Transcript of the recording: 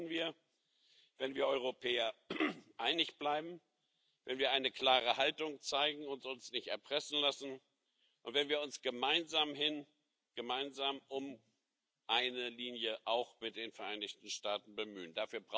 Das schaffen wir, wenn wir Europäer einig bleiben, wenn wir eine klare Haltung zeigen und uns nicht erpressen lassen und wenn wir uns gemeinsam um eine Linie auch mit den Vereinigten Staaten bemühen.